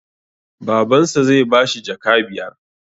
Baban sa zai bashi jaka biyar